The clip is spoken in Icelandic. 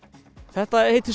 þetta heita